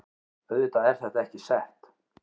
Auðvitað er þetta ekki sett